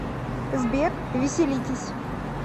сбер веселитесь